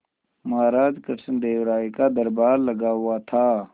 महाराज कृष्णदेव राय का दरबार लगा हुआ था